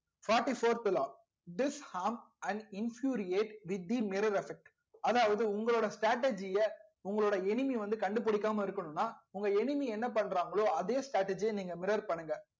fourty fourth law disharm and infuriate with the mirror affect அதாவது உங்களோட strategy உங்களோட enemy வந்து கண்டுபுடிக்காம இருக்கணும்னா உங்க enemy என்ன பண்றாங்களோ அதே strategy ய நீங்க mirror பண்ணுங்க